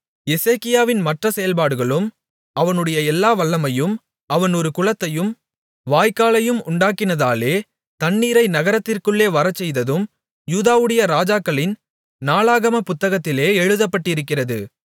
எசேக்கியாவின் மற்ற செயல்பாடுகளும் அவனுடைய எல்லா வல்லமையும் அவன் ஒரு குளத்தையும் வாய்க்காலையும் உண்டாக்கினதினாலே தண்ணீரை நகரத்திற்குள்ளே வரச்செய்ததும் யூதாவுடைய ராஜாக்களின் நாளாகமப் புத்தகத்தில் எழுதப்பட்டிருக்கிறது